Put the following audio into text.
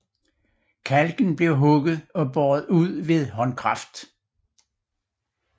Kalken blev hugget og båret ud ved håndkraft